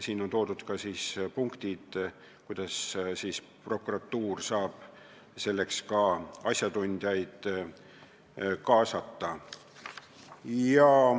Kirjas on ka punktid, kuidas prokuratuur saab selleks asjatundjaid kaasata.